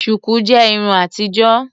Shuku jẹ Irun àtijọ́.